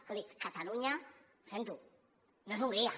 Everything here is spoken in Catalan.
escolti catalunya ho sento no és hongria